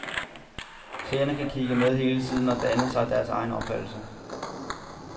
Seerne kan kigge med hele tiden og danne sig deres egen opfattelse.